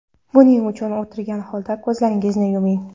Buning uchun o‘tirgan holda ko‘zlaringizni yuming.